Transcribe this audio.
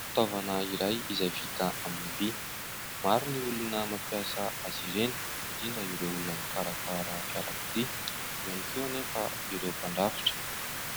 Fitaovana iray izay vita amin'ny vy. Maro ny olona mampiasa azy ireny indrindra ireo olona mikarakara fiarakodia. Eo ihany koa anefa ireo mpandrafitra,